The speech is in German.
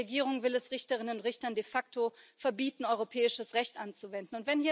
Denn die Regierung will es Richterinnen und Richtern de facto verbieten, europäisches Recht anzuwenden.